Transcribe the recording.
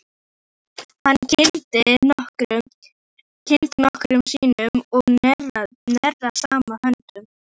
Hann kyngdi nokkrum sinnum og neri saman höndunum.